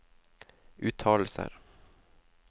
uttalelser